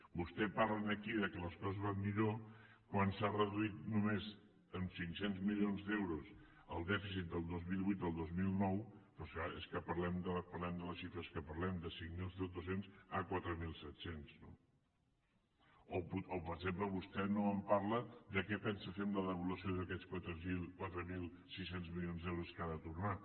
vostè parla aquí que les coses van millor quan s’ha reduït només en cinc cents milions d’euros el dèficit del dos mil vuit al dos mil nou però és clar és que parlem de les xifres que parlem de cinc mil dos cents a quatre mil set cents no o per exemple vostè no en parla de què pensa fer amb la devolució d’aquests quatre mil sis cents milions d’euros que ha de tornar